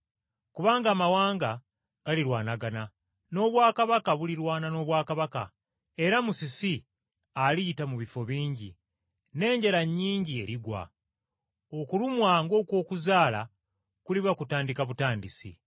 Kubanga amawanga galirwanagana, n’obwakabaka bulirwana n’obwakabaka, era musisi aliyita mu bifo bingi, n’enjala nnyingi erigwa. Okulumwa ng’okw’okuzaala kuliba kutandika butandisi.”